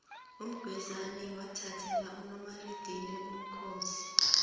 umgwezani wathathela umaridili ubukhosi